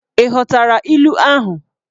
ị ghọtara ilu ahụ?